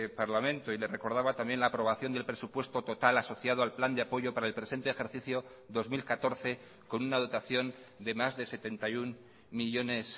parlamento y le recordaba también la aprobación del presupuesto total asociado al plan de apoyo para el presente ejercicio dos mil catorce con una dotación de más de setenta y uno millónes